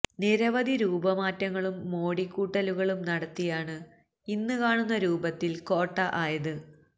നിരവധി രൂപമാറ്റങ്ങളും മോടികൂട്ടലുകളും നടത്തിയാണ് ഇന്ന് കാണുന്ന രൂപത്തില് കോട്ട ആയത്